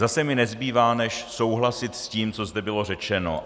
Zase mi nezbývá než souhlasit s tím, co zde bylo řečeno.